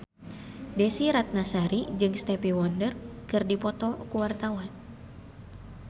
Desy Ratnasari jeung Stevie Wonder keur dipoto ku wartawan